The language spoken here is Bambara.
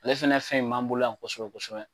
Ale fɛnɛ fɛn in b'an bolo yan kosɛbɛ kosɛbɛ.